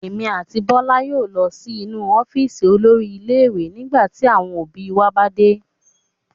Èmi àti Bọ́lá yóò lọ sí inú ọ́fíísì olórí ilé-ìwé nígbà tí àwọn òbí wa bá dé.